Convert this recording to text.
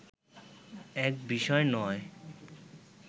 এক বিষয় নয়